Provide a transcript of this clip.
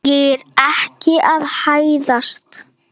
Ég er ekki að hæðast.